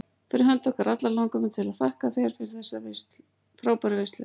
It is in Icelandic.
Fyrir hönd okkar allra langar mig til að þakka þér fyrir þessa frábæru veislu.